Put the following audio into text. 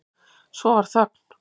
Svo varð þögn.